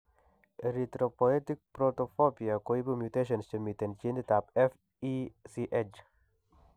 Erythropoetic protoporphyria koibu mutations chemiten genit ab FECH